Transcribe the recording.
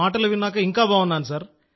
మీ మాటలు విని ఇంకా బాగున్నా సార్